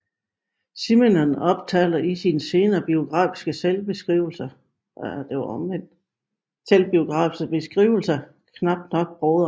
Simenon omtaler i sine senere selvbiografiske beskrivelser knap nok broderen